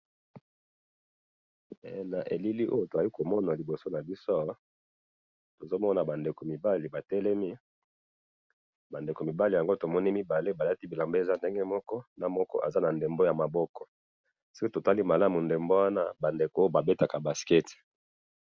Na moni bilenge mibali batelemi na ndembo ya maboko, emonani babetaka basket.